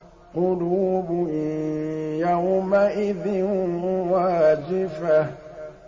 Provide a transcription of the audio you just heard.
قُلُوبٌ يَوْمَئِذٍ وَاجِفَةٌ